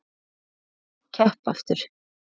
Hvernig var að keppa aftur?